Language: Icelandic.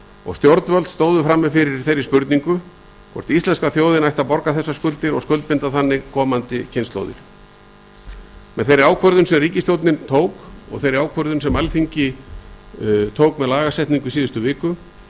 og stjórnvöld stóðu frammi fyrir spurningunni hvort íslenska þjóðin ætti að borga þessar skuldir og skuldbinda þannig komandi kynslóðir með ákvörðun þeirri sem ríkisstjórnin og alþingi tóku með lagasetningu í síðustu viku